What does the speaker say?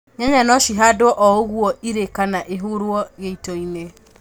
nyanya no cihandwo o ũguo irĩ kana ihurwo gĩitoinĩ